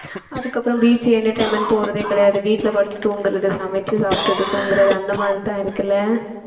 அதுக்கப்புறம் beach, entertainment போறதே கிடையாது வீட்டுல படுத்து தூங்கறது சமைச்சு சாப்பிட்டுட்டு தூங்கறது அந்த மாதிரிதான் இருக்குல்ல